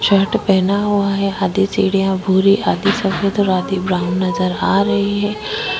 Shirt पहना हुआ है आधी भूरी आधी सफेद और आधी ब्राउन है नज़र आ रही है।